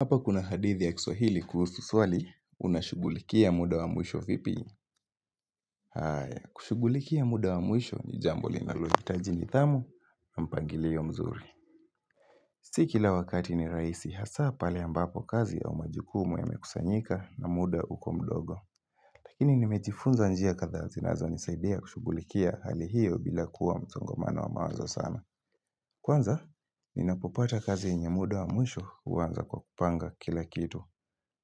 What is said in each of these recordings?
Hapa kuna hadithi ya kiswahili kuhusu swali unashughulikia muda wa mwisho vipi? Haya, kushughulikia muda wa mwisho ni jambo linalohitaji nidhamu na, mpangilio mzuri. Si kila wakati ni rahisi, hasaa pale ambapo kazi au majukumu yamekusanyika na muda uko mdogo. Lakini nimejifunza njia kadhaa zinazonisaidia kushughulikia hali hiyo bila kuwa msongamano wa mawazo sana. Kwanza, ninapopata kazi yenye muda wa mwisho huanza kwa kupanga kila kitu.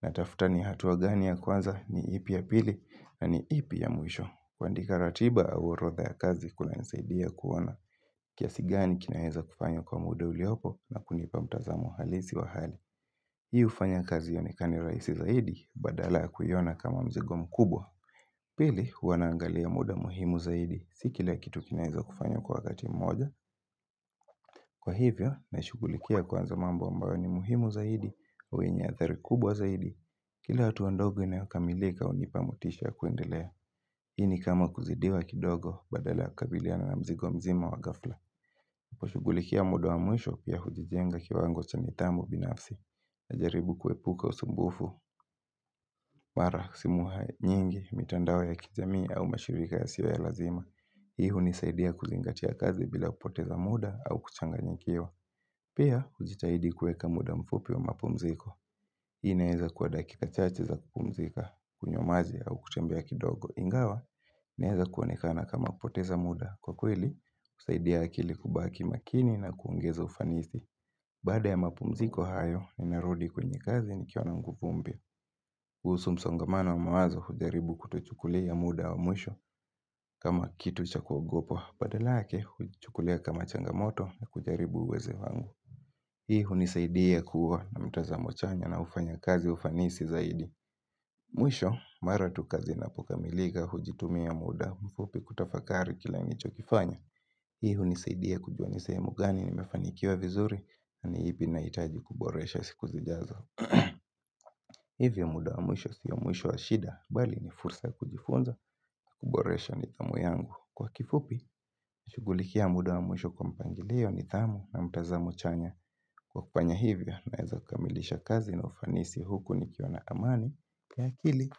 Natafuta ni hatua gani ya kwanza ni ipi ya pili na ni ipi ya mwisho. Kuandika ratiba au orodha ya kazi kunanisaidia kuwa na kiasi gani kinaeza kufanywa kwa muda uliopo na kunipa mtazamuo halisi wa hali. Hii hufanya kazi ionekane rahisi zaidi badala ya kuiona kama mzigo mkubwa. Pili huwa naangalia muda muhimu zaidi si kila kitu kinaeza kufanywa kwa wakati mmoja. Kwa hivyo na shughulikia kwanza mambo ambayo ni muhimu zaidi wenye athari kubwa zaidi. Kila hatua ndogo inayokamilika hunipa motisha ya kuendelea. Hii ni kama kuzidiwa kidogo badala ya kukabiliana na mzigo mzima wa ghafla. Kushughulikia muda wa mwisho pia hujijenga kiwango cha nithamu binafsi. Najaribu kuepuka usumbufu. Mara, simu ha, nyingi, mitandao ya kijamii au mashirika yasiyo ya lazima. Hii hunisaidia kuzingatia kazi bila kupoteza muda au kuchanganyikiwa. Pia hujitahidi kuweka muda mfupi wa mapumziko. Hii inaeza kuwa dakika chache za kupumzika kunywa maji au kutembea kidogo. Ingawa naeza kuonekana kama kupoteza muda kwa kweli, husaidia akili kubaki makini na kuongeza ufanisi. Baada ya mapumziko hayo ninarudi kwenye kazi nikiwa na nguvu mpya kuhusu msongamano wa mawazo hujaribu kutochukulia muda wa mwisho kama kitu cha kuogopa. Badala yake, huichukulia kama changamoto na kujaribu uweze wangu. Hii hunisaidia kuwa na mtazamo chanya na ufanya kazi wa ufanisi zaidi. Mwisho mara tu kazi inapokamilika hujitumia muda mfupi kutafakari kila nilicho kifanya. Hii hunisaidia kujua ni sehemu gani nimefanikiwa vizuri na ni ipi ninahitaji kuboresha siku zijazo. Hivyo muda wa mwisho sio mwisho wa shida bali ni fursa ya kujifunza kuboresha nithamu yangu. Kwa kifupi, na shughulikia muda wa mwisho kwa mpangilio nithamu na mtazamo chanya. Kwa kufanya hivyo, naeza kamilisha kazi na ufanisi huku nikiwa na amani ya akili.